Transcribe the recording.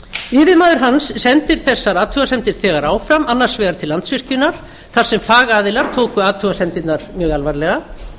yfirmaður hans sendir þessar athugasemdir þegar áfram annars vegar til landsvirkjunar þar sem fagaðilar tóku athugasemdirnar mjög alvarlega